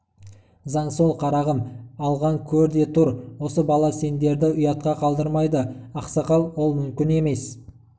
заң сол қарағым алғын көр де тұр осы бала сендерді ұятқа қалдырмайды ақсақал ол мүмкін емес